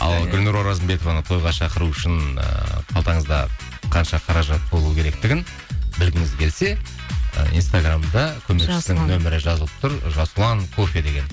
ал гүлнұр оразымбетованы тойға шақыру үшін ы қалтаңызда қанша қаражат болу керектігін білгіңіз келсе і инстаграмда нөмірі жазылып тұр жасұлан кофе деген